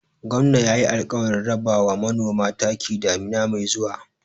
Gwamna yayi alƙawarin raba ma manoma taki damina mai zuwa.